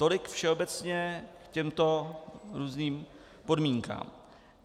Tolik všeobecně k těmto různým podmínkám.